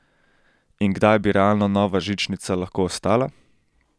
In kdaj bi realno nova žičnica lahko stala?